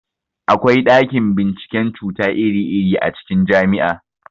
Akwa ɗakin binciken cuta iri-iri a cikin jami'a.